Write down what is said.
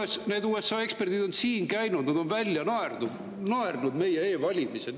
Ma tean, et need USA eksperdid on siin käinud, nad on välja naernud meie e-valimised.